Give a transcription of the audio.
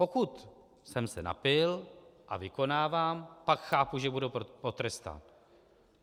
Pokud jsem se napil a vykonávám, pak chápu, že budu potrestán.